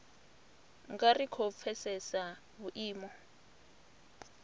nga ri khou pfesesa vhuimo